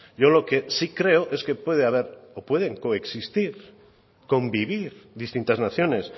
yo lo que sí creo es que puede haber o pueden coexistir convivir distintas naciones